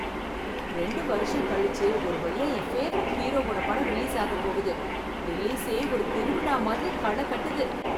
ரெண்டு வருஷம் கழிச்சு ஒரு வழியா என் பேவரைட் ஹீரோவோட படம் ரிலீஸ் ஆகப் போகுது, ரிலீசே ஒரு திருவிழா மாதிரி களை கட்டுது.